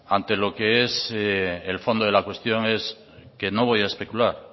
ante lo que es el fondo de la cuestión es que no voy a especular